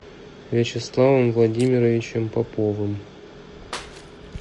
вячеславом владимировичем поповым